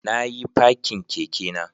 Na yi fakin kekena